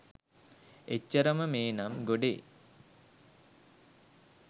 එච්චරම මේ නම් ගොඩේ